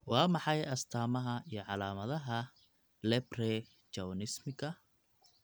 Waa maxay astamaha iyo calaamadaha Leprechaunismka?